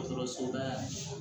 Dɔgɔtɔrɔsoba ye